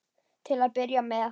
Til að byrja með.